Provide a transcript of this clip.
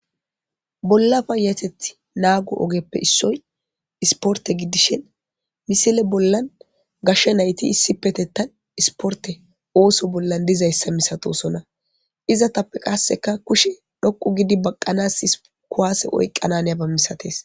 Bolla payateththa naggo oggepoe issoy issiportte giidishin missila bollan gashshe naytti issippetetan issiportte ootho bolla diizayssa masatossona iizetappe qasseka kushshe dhoqqu giidi baqqanas kuwasse oyqqana haaniyaba massates.